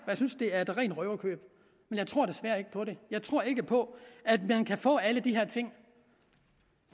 jeg synes det er et rent røverkøb men jeg tror desværre ikke på det jeg tror ikke på at man kan få alle de her ting